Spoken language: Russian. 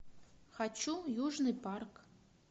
хочу южный парк